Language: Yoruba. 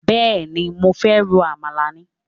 Bẹ́ẹ̀ni, mo fẹ́ ro àmàlà ni?